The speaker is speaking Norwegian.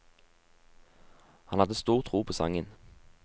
Han hadde stor tro på sangen.